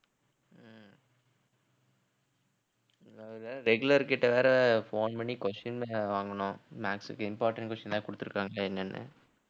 அதாவது regular கிட்ட வேற phone பண்ணி question வேற வாங்கணும் maths க்கு important question ஏதாவது குடுத்திருக்காங்களா என்னன்னு